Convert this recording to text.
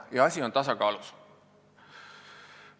Ja asi on tasakaalus.